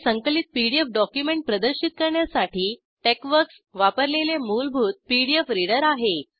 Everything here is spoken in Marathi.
हे संकलित पीडीएफ डॉक्युमेंट प्रदर्शित करण्यासाठी टेक्सवर्क्स वापरलेले मूलभूत पीडीएफ रिडर आहे